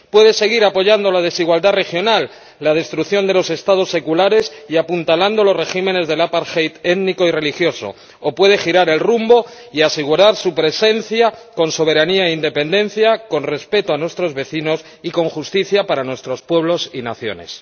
Puede seguir apoyando la desigualdad regional, la destrucción de los Estados seculares y apuntalando los regímenes del étnico y religioso, o puede girar el rumbo y asegurar su presencia con soberanía e independencia, con respeto a nuestros vecinos y con justicia para nuestros pueblos y naciones.